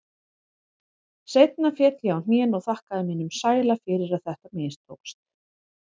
Seinna féll ég á hnén og þakkaði mínum sæla fyrir að þetta mistókst.